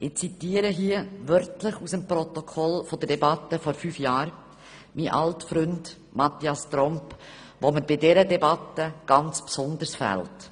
» Ich zitiere hier wörtlich aus dem Protokoll der vor vier Jahren geführten Debatte aus dem Jahr 2013, aus einem Votum meines alten Freundes Mathias Tromp, der mir bei dieser Debatte ganz besonders fehlt.